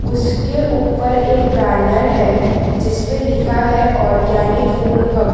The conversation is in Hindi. उसके ऊपर एक बैनर है जिसपे लिखा है ऑर्गेनिक फूड हब --